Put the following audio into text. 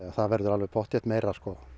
það verður pottþétt meira